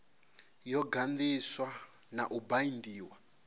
yo ganḓiswa na u baindiwa